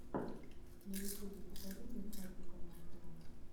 на ютубе покажи мне катюконасову